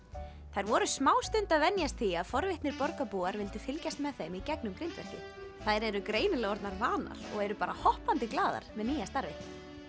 þær voru smástund að venjast því að forvitnir borgarbúar vildu fylgjast með þeim í gegnum grindverkið þær eru greinilega orðnar vanar og eru bara hoppandi glaðar með nýja starfið